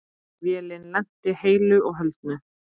Vélin lenti heilu og höldnu.